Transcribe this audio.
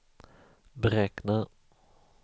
beräkna